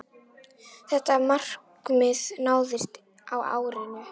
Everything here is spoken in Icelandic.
Þetta markmið náðist á árinu.